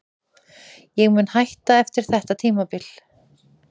Ég mun hætta eftir þetta tímabil.